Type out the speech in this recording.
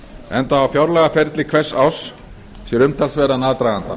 enda á fjárlagaferli hvers árs sér umtalsverðan aðdraganda